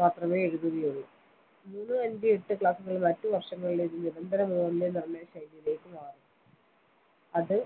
മാത്രമേ എഴുതുകയുള്ളൂ മൂന്ന് അഞ്ച എട്ട് class കളിൽ മറ്റ് വർഷങ്ങളിലെത് നിരന്തര മൂല്യനിർണയശൈലിയിലേക്ക് മാറും അത്